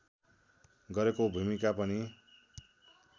गरेको भूमिका पनि